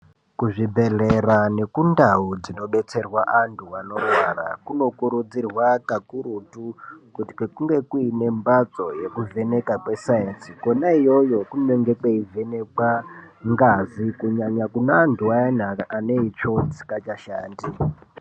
Kuzvibhedhlera nekundau dzinodetserwa antu anorwara kunokurudzirwa kakurutu kuti kunge kuinemhatso yekuvheneka kwesainzi, kwena iyoyo kunenge kweivhenekwe ngazi kunyanya kune antu ayana ane itsvo dzisi ngachashandi.